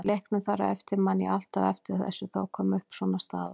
Í leiknum þar á eftir, ég man alltaf eftir þessu, þá kom upp svona staða.